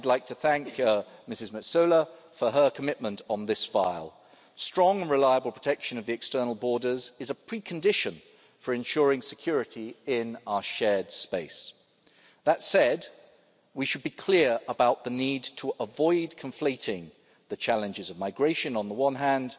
I'd like to thank Ms Metsola for her commitment on this issue. Strong and reliable protection of the external borders is a precondition for ensuring security in our shared space. That said, we should be clear about the need to avoid conflating the challenges of migration, on the one